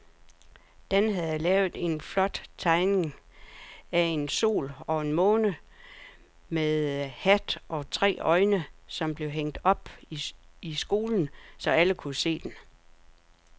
Dan havde lavet en flot tegning af en sol og en måne med hat og tre øjne, som blev hængt op i skolen, så alle kunne se den.